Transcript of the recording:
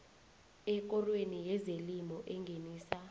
ekorweni yezelimo engenisa